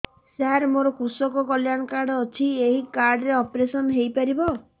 ସାର ମୋର କୃଷକ କଲ୍ୟାଣ କାର୍ଡ ଅଛି ଏହି କାର୍ଡ ରେ ଅପେରସନ ହେଇପାରିବ